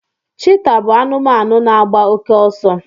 cheetah bụ anụmanụ na agba oke ọsọ